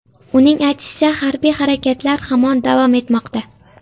Uning aytishicha, harbiy harakatlar hamon davom etmoqda.